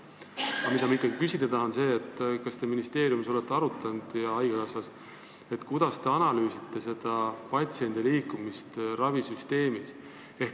Aga ma tahan ikkagi küsida, kas te ministeeriumis ja haigekassas olete arutanud, kuidas te analüüsite patsiendi liikumist ravisüsteemis.